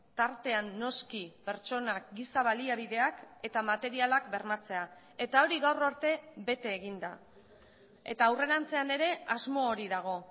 tartean noski pertsonak giza baliabideak eta materialak bermatzea eta hori gaur arte bete egin da eta aurrerantzean ere asmo hori dago